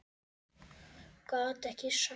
Gat ekki sagt það.